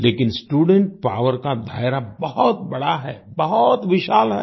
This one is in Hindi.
लेकिन स्टूडेंट पॉवर का दायरा बहुत बड़ा है बहुत विशाल है